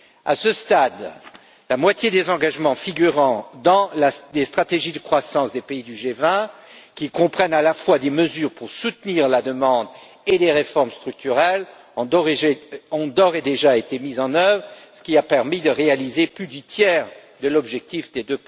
À ce stade, la moitié des engagements figurant dans les stratégies de croissance des pays du G20, qui comprennent à la fois des mesures pour soutenir la demande et des réformes structurelles, ont d'ores et déjà été mis en œuvre, ce qui a permis de réaliser plus du tiers de l'objectif des